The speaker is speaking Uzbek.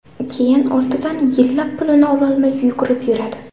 Keyin ortidan yillab pulini ololmay yugurib yuradi.